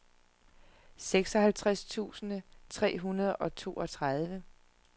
seksoghalvtreds tusind tre hundrede og toogtredive